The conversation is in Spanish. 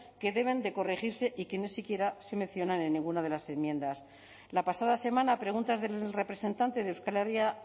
que deben de corregirse y que ni siquiera se mencionan en ninguna de las enmiendas la pasada semana a preguntas del representante de euskal herria